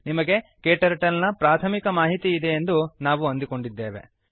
ನಿಮಗೆ Kturtleನ ಪ್ರಾಥಮಿಕ ಮಾಹಿತಿ ಇದೆಯೆಂದು ನಾವು ಅಂದುಕೊಂಡಿದ್ದೇವೆ